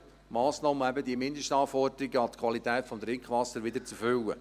Massnahmen, um eben die Mindestanforderungen an die Qualität des Trinkwassers wieder zu erfüllen.